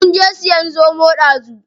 Munje siyan zomo ɗazu.